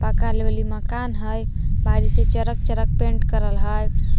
एने एगो गेट देखाइत हइ जे चेक रंग से पेंट करल हइ ।